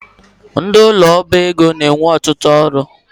Ndị ụlọ ọba ego na-enwe ọtụtụ ọrụ